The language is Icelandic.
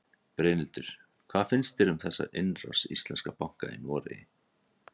Brynhildur: Hvað finnst þér um þessa innrás íslenskra banka í Noregi?